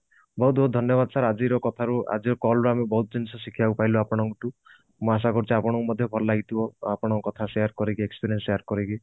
ବହୁତ ବହୁତ ଧନ୍ଯ ବାଦ sir ଆଜିର କଥା ରୁ ଆଜିର call ରୁ ଆମେ ବହୁତ ଜିନିଷ ଶିଖିବାକୁ ପାଇଲୁ ଆପଣଙ୍କ ଠୁ ମୁଁ ଆଶା କରୁଛି ଆପଣଙ୍କୁ ମଧ୍ୟ ଭଲ ଲାଗିଥିବ ଆପଣଙ୍କ କଥା share କରିକି experience share କରିକି